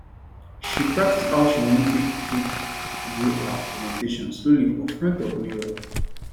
she practice how she want take take do her presentation slowly for front of mirror